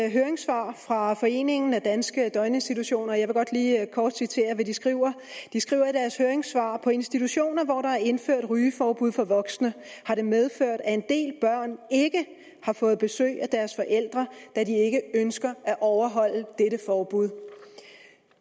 et høringssvar fra foreningen for danske døgninstitutioner og jeg vil godt lige kort citere hvad de skriver de skriver i deres høringssvar på institutioner hvor der er indført rygeforbud for voksne har det medført at en del børn ikke har fået besøg af deres forældre da de ikke ønsker at overholde dette forbud